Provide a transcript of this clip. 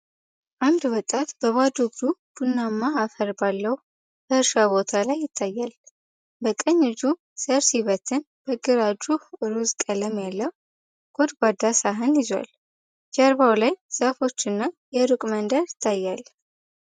አንድ ወጣት በባዶ እግሩ ቡናማ አፈር ባለው በእርሻ ቦታ ላይ ይታያል። በቀኝ እጁ ዘር ሲበትን በግራ እጁ ሮዝ ቀለም ያለው ጎድጓዳ ሳህን ይዟል። ጀርባው ላይ ዛፎች እና የሩቅ መንደር ይገኛል።